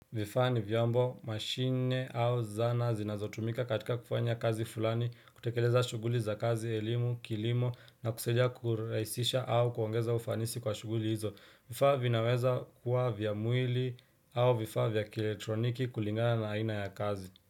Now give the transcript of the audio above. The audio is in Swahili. Vifaa ni vyombo mashine au zana zinazotumika katika kufanya kazi fulani, kutekeleza shughuli za kazi elimu, kilimo na kusaidia kurahisisha au kuongeza ufanisi kwa shughuli hizo. Vifaa vinaweza kuwa vya mwili au vifaa vya kielektroniki kulingana na aina ya kazi.